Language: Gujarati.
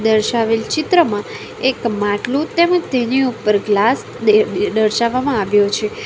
દર્શાવેલ ચિત્રમાં એક માટલું તેમજ તેની ઉપર ગ્લાસ દર દર્શાવવામાં આવ્યો છે.